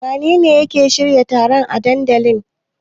Wanene ke shirya taron a dandalin?